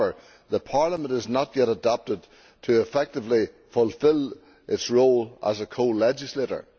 However, Parliament is not yet adapted to effectively fulfil its role as a co legislator.